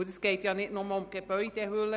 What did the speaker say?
Es geht nicht nur um die Gebäudehülle.